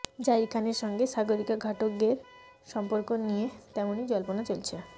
জাহির খানের সঙ্গে সাগরিকা ঘাটগের সম্পর্ক নিয়ে তেমনই জল্পনা চলছে